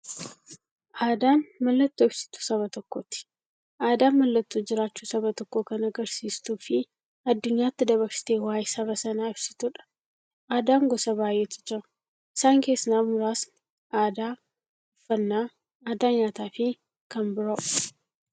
Aadaan mallattoo ibsituu saba tokkooti. Aadaan mallattoo jiraachuu saba tokkoo kan agarsiistufi addunyyaatti dabarsitee waa'ee saba sanaa ibsituudha. Aadaan gosa baay'eetu jira. Isaan keessaa muraasni aadaa, uffannaa aadaa nyaataafi kan biroo.